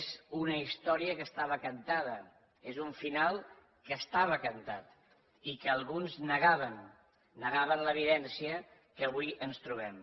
és una història que estava cantada és un final que estava cantat i que alguns negaven negaven l’evidència que avui ens trobem